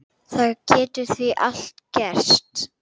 Það getur því allt gerst.